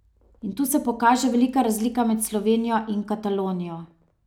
In tu se pokaže velika razlika med Slovenijo in Katalonijo.